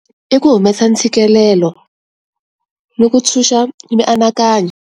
I ku humesa ntshikelelo ni ku ntshunxa mianakanyo.